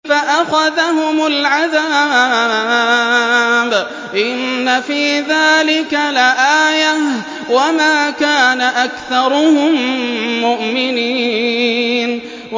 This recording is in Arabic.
فَأَخَذَهُمُ الْعَذَابُ ۗ إِنَّ فِي ذَٰلِكَ لَآيَةً ۖ وَمَا كَانَ أَكْثَرُهُم مُّؤْمِنِينَ